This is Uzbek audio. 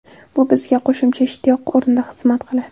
Bu bizga qo‘shimcha ishtiyoq o‘rnida xizmat qiladi.